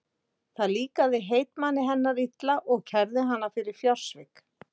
Það líkaði heitmanni hennar illa og kærði hana fyrir fjársvik.